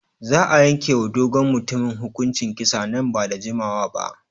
Za a yanke wa dogon mutumin hukuncin kisa nan ba da jimawa ba.